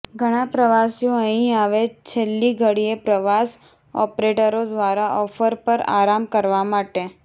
ધણા પ્રવાસીઓ અહીં આવે છેલ્લી ઘડીએ પ્રવાસ ઓપરેટરો દ્વારા ઓફર પર આરામ કરવા માટે